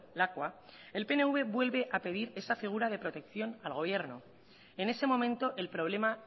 lakua el pnv vuelve a pedir esa figura de protección al gobierno en ese momento el problema